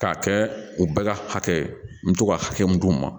K'a kɛ u bɛɛ ka hakɛ ye n bɛ to ka hakɛ mun d'u ma